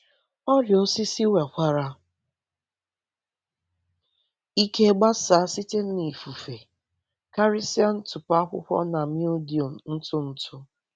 Ọrịa osisi nwekwara ike gbasaa site n’ifufe, karịsịa ntụpọ akwụkwọ na mildew ntụ ntụ.